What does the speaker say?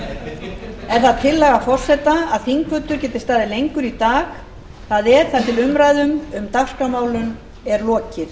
er það tillaga forseta að þingfundur geti staðið lengur í dag það er þar til umræðum um dagskrármálin er lokið